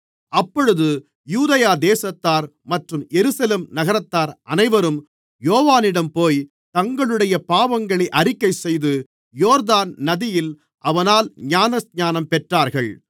அப்பொழுது யூதேயா தேசத்தார் மற்றும் எருசலேம் நகரத்தார் அனைவரும் யோவானிடம்போய் தங்களுடைய பாவங்களை அறிக்கைசெய்து யோர்தான் நதியில் அவனால் ஞானஸ்நானம் பெற்றார்கள்